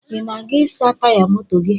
Ị na-aga ịsa taya moto gi?